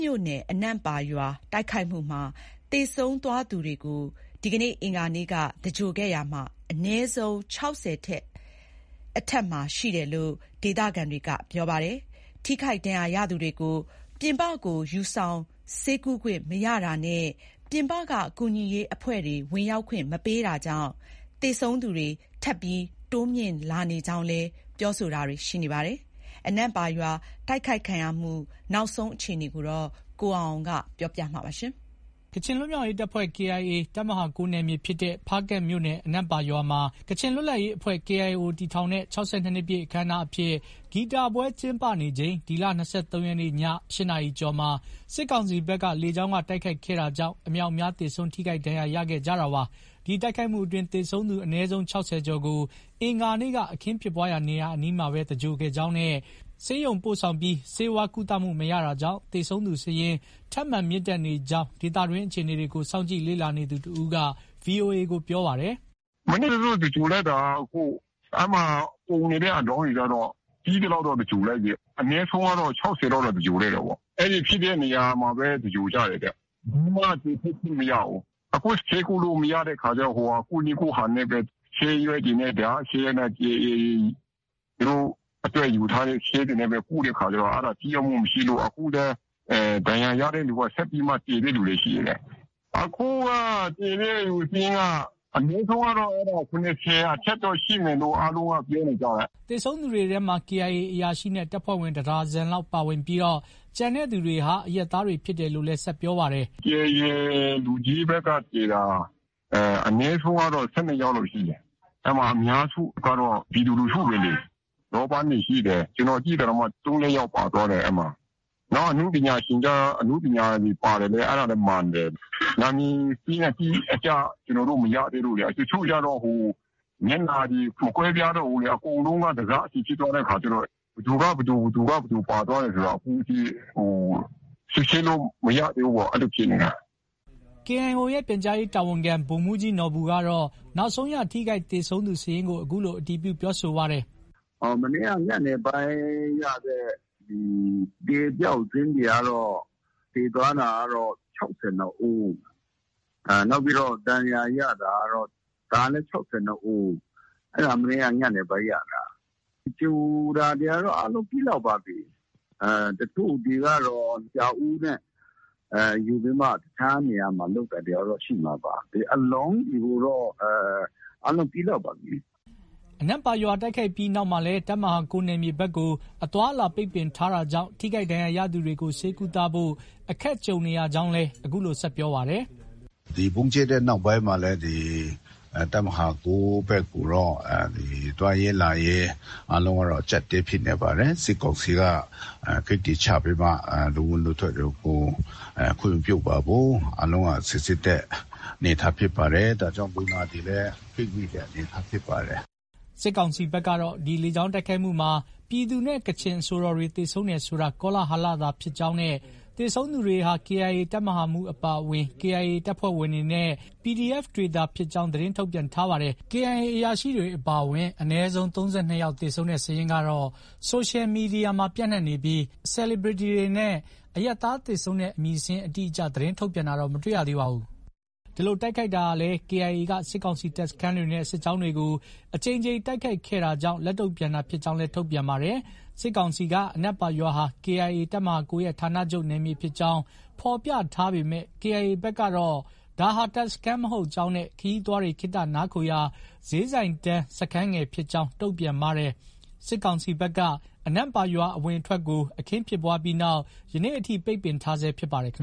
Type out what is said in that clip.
မြို့နယ် အနန့်ပါရွာတိုက်ခိုက်မှုမှာ သေဆုံးသွားသူတွေကို အင်္ဂါနေ့က သဂြိုဟ်ခဲ့တာမှာ အနည်းဆုံး ၆၀ အထက်မှာ ရှိတယ်လို့ ဒေသခံတွေက ပြောပါတယ်။ ထိခိုက်ဒဏ်ရာရသူတွေကို ပြင်ပကို ယူဆောင်ဆေးကုခွင့်မရတာနဲ့ ပြင်ပကကူညီရေးအဖွဲ့တွေဝင်ရောက်ခွင့် မပေးတာကြောင့် သေဆုံးသူတွေ ထပ်မံတိုးမြင့်လာနေကြောင်းလည်း ပြောတာတွေ ရှိနေပါတယ်။ အနန့်ပါရွာ တိုက်ခိုက်ခံရမှု နောက်ဆုံးအခြေအနေ ရန်ကုန်ကလာတဲ့သတင်း ကိုအောင်အောင်က ပြောပြထားပါတယ်။ ကချင်လွတ်မြောက်ရေးတပ်ဖွဲ့ KIA တပ်မဟာ ၉ နယ်မြေ ဖြစ်တဲ့ ဖားကန့်မြို့နယ် အနန့်ပါ ရွာမှာ ကချင်လွတ်လပ်ရေးအဖွဲ့ KIO တည်ထောင်တဲ့ ၆၂ နှစ်ပြည့်အခမ်းအနားအဖြစ် ဂီတပွဲကျင်းပနေချိန် ဒီလ ၂၃ ရက်နေ့ည ၈ နာရီကျော်မှာ စစ်ကောင်စီဘက်က လေကြောင်းက တိုက်ခိုက်ခဲ့တာကြောင့် အမြောက်အများ သေဆုံး ထိခိုက်ဒဏ်ရာရခဲ့ကြတာပါ။ ဒီတိုက်ခိုက်မှုအတွင်း သေဆုံးသူအနည်းဆုံး ၆၀ ကျော်ကို အင်္ဂါနေ့က အခင်းဖြစ်ပွားရာနားမှာပဲ သြင်္ဂဟ် ခဲ့ကြောင်းနဲ့ ဆေးရုံပို့ဆောင်ပြီး ဆေးဝါးကုသမှုမရတာကြောင့် သေဆုံးသူစာရင်း ထပ်မံ မြင့်တက်နေကြောင်း ဒေသတွင်း အခြေအနေကို စောင့်ကြည့်လေ့လာနေသူတဦးက VOA ကို ပြောပါတယ်။ “မနေ့က သြင်္ဂ ိုဟ်လိုက်တာက အဲဒီမှာ ပုံနေတဲ့အလောင်းတွေကျတော့ ပြီးသလောက်တော့ သြင်္ဂ ိုဟ်လိုက်ပြီ။ အနည်းဆုံး ၆၀ လောက်တော့ သြင်္ဂ ိုဟ်လိုက်တာပေါ့။ အဲဒီဖြစ်တဲ့နေရာမှာပဲ သြင်္ဂ ိုဟ်ကြတယ်တဲ့။ ဘယ်သူမှ အပြင်ထွက်ခွင့်မရဘူး။ အခုက ဆေးကုလို့မရတဲ့အခါကျ တောက ဆေးရွက်တွေနဲ့ KIA တွေက သူတို့အတွက်ယူထားတဲ့ ဆေးတွေနဲ့ပဲကုတဲ့အခါကျတော့ ထိရောက်မှုမရှိလို့။အခုလည်း ဒဏ်ရာရတဲ့သူကဆက်ပြီးမှ သေတဲ့လူလည်း ရှိတယ်တဲ့။ အခုက သေတဲ့သူစာရင်းက အနည်းဆုံး ၇၀ အထက်တော့ ရှိမယ်လို့ အားလုံးက ပြောနေကြတာ။” သေဆုံးသူတွေထဲမှာ KIA အရာရှိနဲ့ တပ်ဖွဲ့ဝင် တဒါဇင်လောက်ပါဝင်ပြီး ကျန်သူတွေဟာ အရပ်သားတွေဖြစ်တယ်လို့လည်း ဆက်ပြောပါတယ်။ “KIA လူကြီးဘက်က သေတာ အနည်းဆုံးကတော့ ၁၂ ယောက်လောက်ရှိတယ်။ အများစုကတော့ ပြည်သူလူထုတွေလေ။ လောပန်းတွေ ရှိတယ်။ ကျနော်သိတာတောင်မှ ၃- ၄ ယောက် ပါသွားတယ်။ နောက် အနုပညာရှင်တွေ ပါတာလည်း မှန်တယ်။ နာမည်အတိအကျ မရသေးလို့လေ။ တချို့ကျတော့ မျက်နှာတွေ မကွဲပြားတော့ဘူးလေ။ အကုန်လုံးက တစစီ ဖြစ်သွားတဲ့အခါကျတော့ ဘယ်သူက ဘယ်သူ ပါသွားတယ်ဆိုတာ အခုထိ စစ်ဆေးလို့ မရသေးဘူးပေါ့။ အဲလိုဖြစ်နေတာ။” KIO ရဲ့ ပြန်ကြားရေးတာဝန်ခံ ဗိုလ်မှူးကြီးနော်ဘူကတော့ နောက်ဆုံးရ ထိခိုက်၊ သေဆုံးသူစာရင်းကို အခုလို အတည်ပြုပြောဆိုပါတယ်။ “မနေ့က ညနေပိုင်းရတဲ့ အသေအပျောက်စာရင်းတွေကတော့ သေသွားတာကတော့ ၆၂ ဦး။ နောက်ပြီးတော့ ဒဏ်ရာရတာကတော့ ဒါလည်း ၆၂ ဦး။ အဲဒါ မနေ့က ညနေပိုင်းရတာ။ သင်္ဂြ ိုဟ် တာတွေကတော့ အားလုံးပြီးလောက်ပါပြီ။ တချို့တွေကတော့ ပြာအိုးနဲ့ ယူပြီးမှ တခြားနေရာမှာ လုပ်တာတွေကတော့ ရှိမှာပါ။ အလောင်းတွေကတော့ အားလုံးပြီးလောက်ပါပြီ။” အနန့်ပါရွာ တိုက်ခိုက်ပြီးနောက်မှာလည်း တပ်မဟာ ၉ နယ်မြေဘက်ကို အသွားအလာပိတ်ပင်ထားတာကြောင့် ထိခိုက်ဒဏ်ရာရသူတွေ ဆေးကုသဖို့ အခက်ဖြစ်နေကြောင်းလည်း အခုလို ဆက်ပြောပါတယ်။ “ဒီဗုံးကြဲတဲ့နောက်ပိုင်းမှာလည်း တပ်မဟာ ၉ ဘက်ကိုတော့ သွားရေးလာရေး အားလုံးကတော့ အကျပ်အတည်းဖြစ်နေပါတယ်။ စစ်ကောင်စီက ဂိတ်တွေချပြီးမှ လူဝင်လူထွက်တွေကို ခွင့်မပြုပါဘူး။ အားလုံးက စီစစ်တဲ့ အနေအထားဖြစ်ပါတယ်။ ဒါကြောင့် လူနာတွေလည်း ပိတ်မိတဲ့အနေအထားဖြစ်ပါတယ်။” စစ်ကောင်စီဘက်ကတော့ ဒီလေကြောင်းတိုက်ခိုက်မှုမှာ ပြည်သူနဲ့ ကချင်အဆိုတော်တွေ သေဆုံးတယ်ဆိုတာ ကောလဟလသာဖြစ်ကြောင်းနဲ့ သေဆုံးသူတွေဟာ KIA တပ်မဟာမှူးအပါအဝင် KIA တပ်ဖွဲ့ဝင်တွေနဲ့ PDF တွေသာဖြစ်ကြောင်း သတင်းထုတ်ပြန်ထားပါတယ်။ KIA အရာရှိတွေအပါအဝင် အနည်းဆုံး ၃၂ ယောက်သေဆုံးတဲ့ စာရင်းကတော့ ဆိုရှယ်မီဒီယာမှာ ပျံ့နှံ့နေပြီး Celebrities တွေနဲ့ အရပ်သားသေဆုံးတဲ့ အမည်စာရင်းအတိအကျ သတင်းထုတ်ပြန်တာမတွေ့ရသေးပါဘူး။ ဒီလို တိုက်ခိုက်ဟာလည်း KIA က စစ်ကောင်စီတပ်စခန်းတွေနဲ့ စစ်ကြောင်းတွေကို အကြိမ်ကြိမ် တိုက်ခိုက်ခဲ့တာကြောင့် လက်တုံ့ပြန်တာဖြစ်ကြောင်းလည်း ထုတ်ပြန်ထားပါတယ်။ စစ်ကောင်စီက အနန့်ပါရွာဟာ KIA တပ်မဟာ ၉ ရဲ့ဌာနချုပ်နယ်မြေဖြစ်ကြောင်း ဖော်ပြထားပေမယ့် KIA ဘက်ကတော့ ဒါဟာ တပ်စခန်းမဟုတ်ကြောင်းနဲ့ ခရီးသွားတွေ ခေတ္တနားခိုရာ ဈေးဆိုင်တန်းစခန်းငယ်ဖြစ်ကြောင်း တုံ့ပြန်ထားပါတယ်။စစ်ကောင်စီတပ်က အနန့်ပါရွာ အဝင်အထွက်ကို အခင်းဖြစ်ပွားပြီးနောက် ယနေ့အထိ ပိတ်ပင်ထားဆဲဖြစ်ပါတယ်